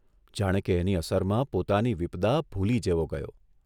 જાણે કે એની અસર માં પોતાની વિપદા ભૂલી જેવો ગયો.